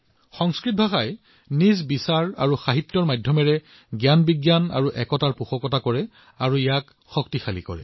সংস্কৃত ইয়াৰ চিন্তাধাৰা ইয়াৰ সাহিত্যৰ জৰিয়তে জ্ঞান আৰু জাতিৰ ঐক্যতাৰ প্ৰতিপালন আৰু শক্তিশালী কৰে